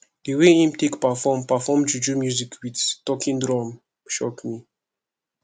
di way im take perform perform juju music wit talking drum shock me